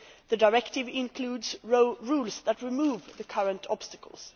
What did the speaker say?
The directive includes rules that remove the current obstacles.